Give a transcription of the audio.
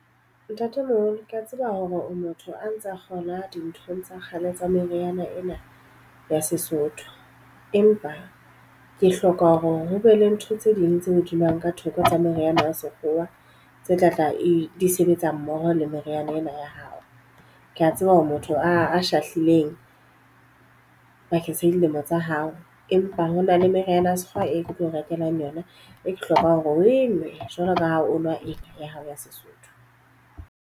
Ntatemoholo, ke a tseba hore o motho a ntsa kgolwa dinthong tsa kgale tsa meriana ena ya Sesotho. Empa ke hloka hore ho be le ntho tse ding tse hodiswang ka theko tsa meriana ya sekgowa tse tlatla e di sebetsa mmoho le meriana ena ya hao. Ke a tseba hore motho a shahlileng bakeng sa dilemo tsa hao. Empa hona le meriana ya sekgowa e ke tlo rekelang yona e ke hlokang hore o enwe jwalo ka ha o nwa ena ya hao ya Sesotho.